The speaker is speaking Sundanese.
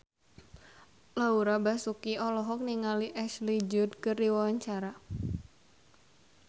Laura Basuki olohok ningali Ashley Judd keur diwawancara